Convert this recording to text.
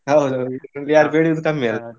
ಹೌದೌದು, ಯಾರು ಬೆಳಿಯೂದು ಕಮ್ಮಿ ಅಲ್ಲ?